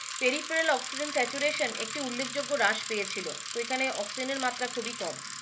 peripheral oxygen saturation একটি উল্লেখ যোগ্য রাস পেয়েছিলো তো এখানে Oxygen এর মাত্ৰা খুবই কম।